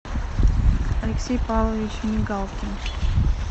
алексей павлович мигалкин